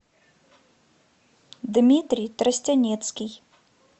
дмитрий тростянецкий